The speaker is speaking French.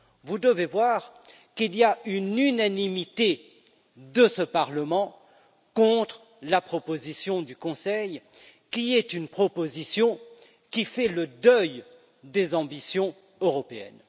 Vous devez voir qu'il y a une unanimité de ce Parlement contre la proposition du Conseil, qui est une proposition qui fait le deuil des ambitions européennes.